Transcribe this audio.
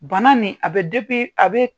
Bana nin a bɛ , a bɛ